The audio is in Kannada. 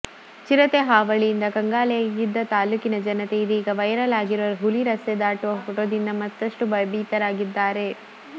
ಚಿರತೆ ಹಾವಳಿಯಿಂದ ಕಂಗಾಲಾಗಿದ್ದ ತಾಲೂಕಿನ ಜನತೆ ಇದೀಗ ವೈರಲ್ ಆಗಿರುವ ಹುಲಿ ರಸ್ತೆ ದಾಟುವ ಫೋಟೋದಿಂದ ಮತ್ತಷ್ಟು ಭಯಭೀತರಾಗಿದ್ದಾರೆ